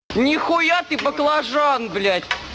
нихуя ты баклажан блядь